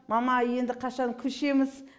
мама енді қашан көшеміз